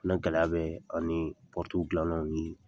O fɛnɛ gɛlɛya bɛ ani pɔrɔu gilannaw ni